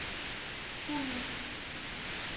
пунин